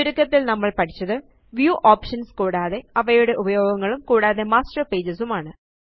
ചുരുക്കത്തില് നമ്മള് പഠിച്ചത് വ്യൂ ഓപ്ഷൻസ് കൂടാതെ അവയുടെ ഉപയോഗങ്ങളും കൂടാതെ മാസ്റ്റർ പേജസ് ഉം ആണ്